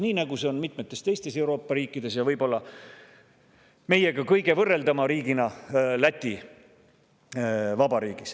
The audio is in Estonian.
Nii on see ka mitmetes teistes Euroopa riikides, võib-olla meiega kõige võrreldavam riik on nende seas Läti Vabariik.